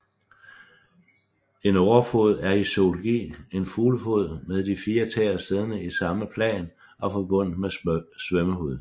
En årefod er i zoologi en fuglefod med de fire tæer siddende i samme plan og forbundet med svømmehud